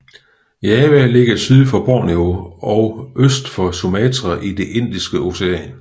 Java ligger syd for Borneo og øst for Sumatra i det Indiske Ocean